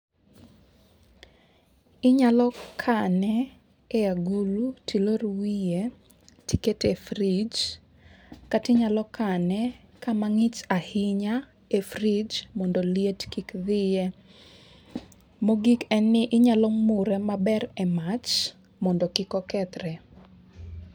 Inyalo kane e agulu tilor wiye tiket e frij kata inyalo kane kama ng'ich ahinya e frij mondo liet kik dhiye. Mogik en ni inyalo mure maber e mach mondo kik okethre.